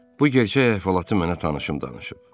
Bu gerçək əhvalatı mənə tanışım danışıb.